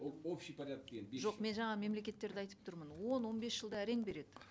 ол общие порядки жоқ мен жаңа мемлекеттерді айтып тұрмын он он бес жылда әрең береді